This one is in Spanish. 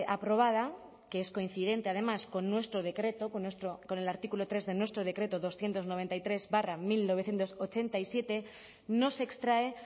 aprobada que es coincidente además con nuestro decreto con el artículo tres de nuestro decreto doscientos noventa y tres barra mil novecientos ochenta y siete no se extrae